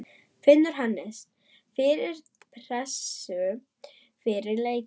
Finnur Hannes fyrir pressu fyrir leikinn?